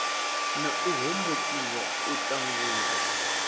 na u hombokiwa u ṱangulwa